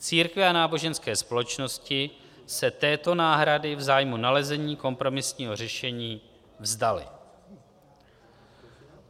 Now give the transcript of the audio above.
Církve a náboženské společnosti se této náhrady v zájmu nalezení kompromisního řešení vzdaly.